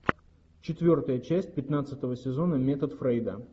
четвертая часть пятнадцатого сезона метод фрейда